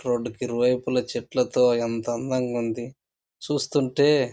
road కు ఇరువైపుల చెట్లతో ఎంత అందంగా ఉంది చూస్తుంటే --